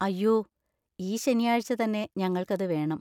അയ്യോ, ഈ ശനിയാഴ്ച തന്നെ ഞങ്ങൾക്ക് അത് വേണം.